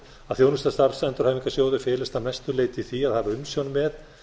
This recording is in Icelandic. að þjónusta starfsendurhæfingarsjóða felist að mestu leyti í því að hafa umsjón með